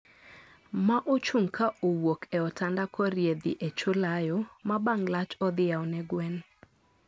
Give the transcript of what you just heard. Ma ochung' ka owuok e otanda korie dhi e choo layo, ma bang' lach odhi yao ne gwen